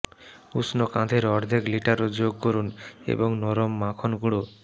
উষ্ণ কাঁধের অর্ধেক লিটারও যোগ করুন এবং নরম মাখন গুঁড়ো